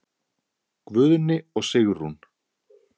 Guðni og Sigrún.